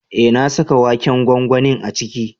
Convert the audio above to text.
Eh na saka waken gwangwanin a ciki.